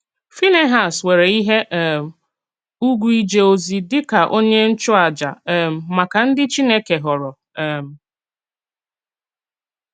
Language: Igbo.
Fínèhàs nwerè íhè um ùgwù íjè òzí díkà onye nchụ̀àjà um màkà ndí Chínèkè họ̀rọ̀. um